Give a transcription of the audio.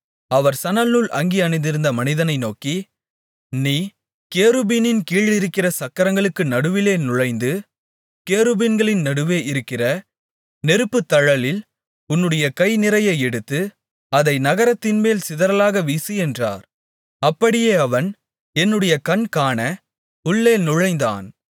அவர் சணல்நூல் அங்கி அணிந்திருந்த மனிதனை நோக்கி நீ கேருபீனின் கீழ் இருக்கிற சக்கரங்களுக்கு நடுவிலே நுழைந்து கேருபீன்களின் நடுவே இருக்கிற நெருப்புத்தழலில் உன்னுடைய கை நிறைய எடுத்து அதை நகரத்தின்மேல் சிதறலாக வீசு என்றார் அப்படியே அவன் என்னுடைய கண்காண உள்ளே நுழைந்தான்